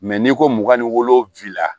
n'i ko mugan ni wolowula